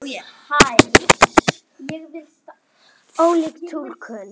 Ólík túlkun.